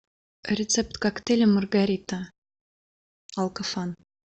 рецепт коктейля маргарита алкофан